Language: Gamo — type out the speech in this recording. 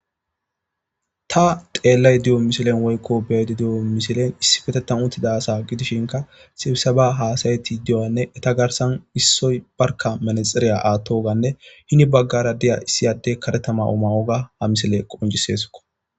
Tani xeelash diza misilley ta beyada diza missiley issipetethan utida Asa gidishinka Sibiseba hasa'ishin Eta garsan issoy barka melee Siya atoygane hene bagara diyo issi adey karetha mo'o mayoga Ha missiley qonccesko